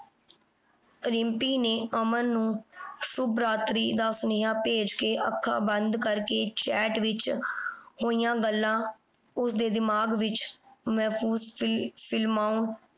ਰਿੰਪੀ ਨੇ ਅਮਨ ਨੂੰ ਸ਼ੁੱਭ ਰਾਤਰੀ ਦਾ ਸੁਨੇਹਾ ਭੇਜ ਕੇ ਅੱਖਾਂ ਬੰਦ ਕਰਕੇ chat ਵਿਚ ਹੋਈਆਂ ਗੱਲਾਂ ਉਸਦੇ ਦਿਮਾਗ ਵਿਚ ਮਹਿਫੂਸ ਫਿਲ ਫਿਲਮਾਉਣ